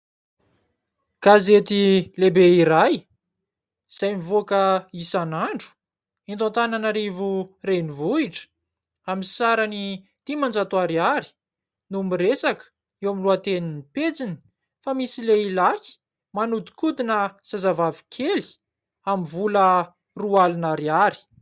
Gazety lehibe iray, izay mivoaka isan'andro eto Antanana rivo renivohitra, aminy sarany dimanjato ariary, no miresaka, eo amin'ny lohatenin'ny pejiny, fa misy lehilahy manodikodina zazavavy kely amin'ny vola roa alina ariary.